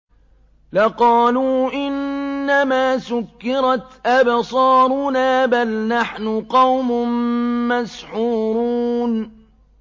لَقَالُوا إِنَّمَا سُكِّرَتْ أَبْصَارُنَا بَلْ نَحْنُ قَوْمٌ مَّسْحُورُونَ